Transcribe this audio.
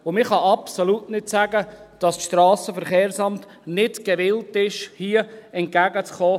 Man kann absolut nicht sagen, dass das SVSA nicht gewillt ist, uns hier entgegenzukommen.